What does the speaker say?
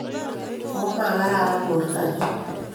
Komagararan borto nyu